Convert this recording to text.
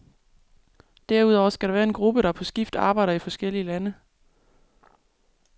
Derudover skal der være en gruppe, der på skift arbejder i forskellige lande.